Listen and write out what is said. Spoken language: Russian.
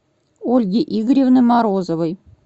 ольги игоревны морозовой